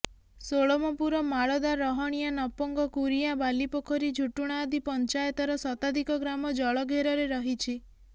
ଷୋଳମପୁର ମାଳଦା ରହଣିଆ ନପଙ୍ଗ କୁରିଗାଁ ବାଲିପୋଖରୀ ଝୁଟୁଣା ଆଦି ପଞ୍ଚାୟତର ଶତାଧିକ ଗ୍ରାମ ଜଳଘେରରେ ରହିଛି